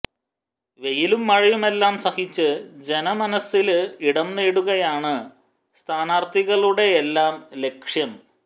വെയിലും മഴയുമെല്ലാം സഹിച്ച് ജനമനസില് ഇടം നേടുകയാണ് സ്ഥാനാര്ത്ഥികളുടെയെല്ലാം ലക്ഷ്യം